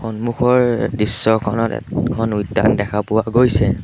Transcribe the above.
সন্মুখৰ দৃশ্যখনত এখন উদ্যান দেখা পোৱা গৈছে।